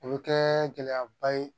O bɛ kɛ gɛlɛyaba ye